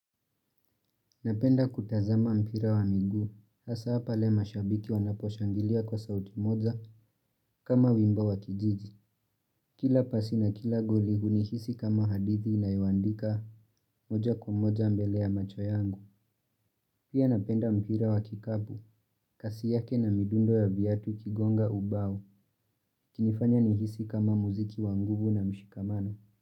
Napenda kutazama mpira wa miguu, hasa hapa pale mashabiki wanaposhangilia kwa sauti moja kama wimbo wa kijiji. Kila pasi na kila goli hunihisi kama hadithi ninayoandika moja kwa moja mbele ya macho yangu. Pia napenda mpira wa kikabu, kasi yake na midundo ya viatu ukigonga ubao, kinifanya nihisi kama muziki wanguvu na mshikamano.